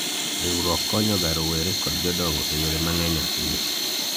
riwruok konyoga rowere kod jodongo e yore mang'eny ahinya